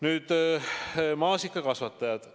Nüüd maasikakasvatajatest.